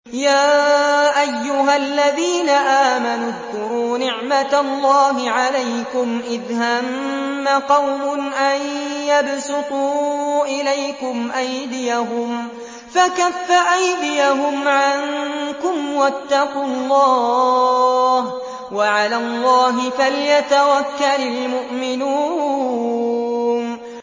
يَا أَيُّهَا الَّذِينَ آمَنُوا اذْكُرُوا نِعْمَتَ اللَّهِ عَلَيْكُمْ إِذْ هَمَّ قَوْمٌ أَن يَبْسُطُوا إِلَيْكُمْ أَيْدِيَهُمْ فَكَفَّ أَيْدِيَهُمْ عَنكُمْ ۖ وَاتَّقُوا اللَّهَ ۚ وَعَلَى اللَّهِ فَلْيَتَوَكَّلِ الْمُؤْمِنُونَ